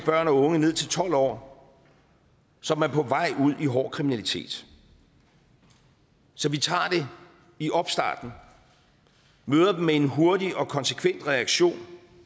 børn og unge ned til tolv år som er på vej ud i hård kriminalitet så vi tager det i opstarten møder dem med en hurtig og konsekvent reaktion